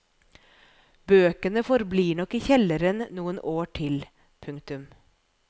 Bøkene forblir nok i kjelleren noen år til. punktum